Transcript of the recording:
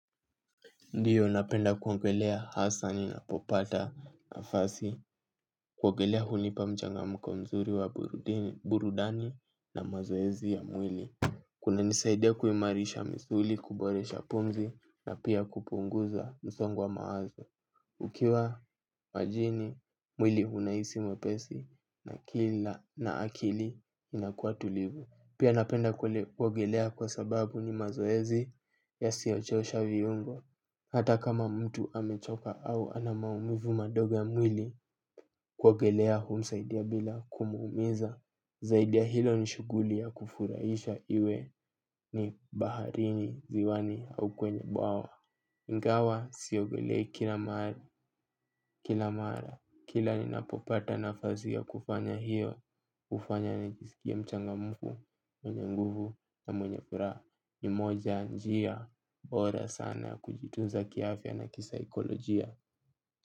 Ndio napenda kuogelea, hasa ninapopata nafasi. Kuogelea hunipa mchanganyiko mzuri wa burudani na mazoezi ya mwili. Kunanisaidia kuimarisha misuli, kuboresha pumzi na pia kupunguza msongo wa mawazo. Ukiwa majini, mwili unahisi mwepesi na akili inakua tulivu. Pia napenda kuogelea kwa sababu ni mazoezi ya siyochosha viungo. Hata kama mtu amechoka au anamaumivu madogo ya mwili kuogelea humsaidia bila kumuumiza. Zaidi ya hilo nishughuli ya kufurahisha iwe ni baharini, ziwani au kwenye bwawa. Ingawa siogelei kila mara, kila ni napopata nafasi ya kufanya hiyo hufanya nijisikie mchangamfu, mwenye nguvu na mwenye furaha. Ni moja ya njia bora sana ya kujitunza kiafya na kisaikolojia.